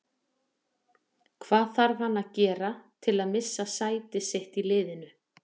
Hvað þarf hann að gera til að missa sæti sitt í liðinu?